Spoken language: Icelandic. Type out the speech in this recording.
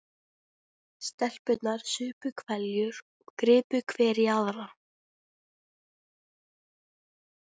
Stelpurnar supu hveljur og gripu hver í aðra.